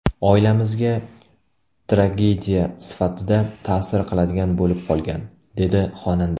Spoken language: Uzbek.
Oilamizga tragediya sifatida ta’sir qiladigan bo‘lib qolgan”, dedi xonanda.